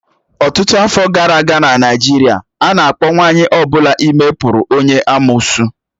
Ọtụtụ afọ gara aga n'Naịjirịa, a na-akpọ nwanyị ọ bụla ime pụrụ onye amụụsụ.